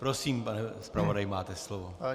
Prosím, pane zpravodaji, máte slovo.